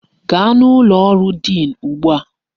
Gaa n'ụlọ ọrụ diin ugbu a!